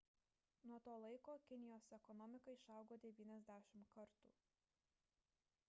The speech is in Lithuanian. nuo to laiko kinijos ekonomika išaugo 90 kartų